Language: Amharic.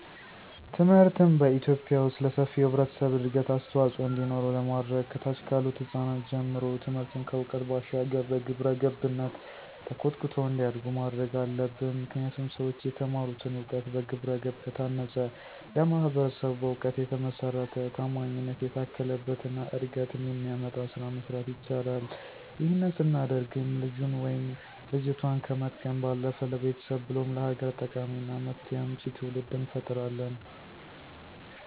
ትምህርትን በኢትዮጲያ ዉስጥ ለሰፊው ህብረተሰብ እድገት አስተዋፅዖ እንዲኖረው ለማድረግ ከታች ካሉት ህጻናት ጀምሮ ትምህርትን ከዕውቀት ባሻገር በግብረገብነት ተኮትኩተው እንዲያድጉ ማድረግ አለብን። ምክንያቱም ሠዎች የተማሩትን እውቀት በግብረገብ ከታነፀ ለማህበረሰቡ በእውቀት የተመሰረተ፣ ታማኝነት የታከለበት እና እድገትን የሚያመጣ ስራ መስራት ይችላል። ይህንን ስናደርግም ልጁን ወይም ልጆቷን ከመጥቀም ባለፈ ለቤተሰብ ብሎም ለሀገር ጠቃሚና መፍትሄ አምጪ ትውልድ እንፈጥራለን።